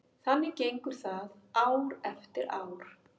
Þannig gengur það ár eftir ár.